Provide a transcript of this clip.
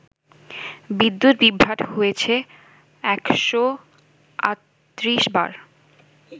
বিদ্যুৎ বিভ্রাট হয়েছে ১৩৮ বার